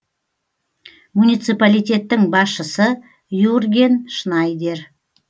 муниципалитеттің басшысы юрген шнайдер